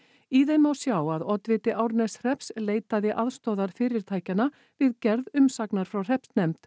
í þeim má sjá að oddviti Árneshrepps leitaði aðstoðar fyrirtækjanna við gerð umsagnar frá hreppsnefnd